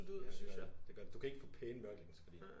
Ja det gør det det gør det. Du kan ikke få pæne mørklægningsgardiner